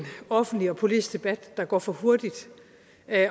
offentlig og politisk debat der går for hurtigt